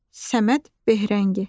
Səməd Behrəngi.